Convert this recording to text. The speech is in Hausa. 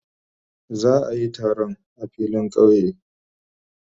Za a yi taron a filin kauye.